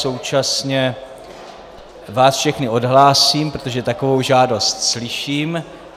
Současně vás všechny odhlásím, protože takovou žádost slyším.